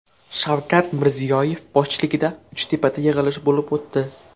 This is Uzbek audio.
Shavkat Mirziyoyev boshchiligida Uchtepada yig‘ilish bo‘lib o‘tdi.